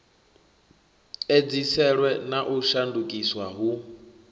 edziselwe na u shandukiswa hu